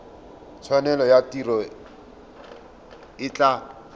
tshwanelo ya tiro e tla